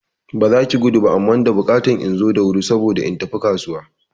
Ba zaki gudu ba amma da bukatan inzo da wuri saboda in tafi kasuwa